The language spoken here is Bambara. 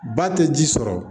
Ba tɛ ji sɔrɔ